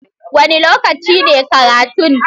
Wane lokaci ne karatun?